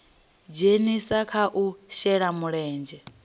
dzhenisa kha u shela mulenzhe